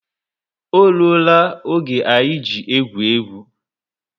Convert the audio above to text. O rụọ la oge anyị ji egwu égwu